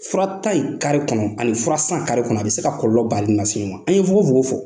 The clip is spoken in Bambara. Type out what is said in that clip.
Fura ta in kare kɔnɔ, ani fura san kare kɔnɔ a bɛ se ka kɔlɔlɔ balinen lase i ma. An ye fogofogo fɔ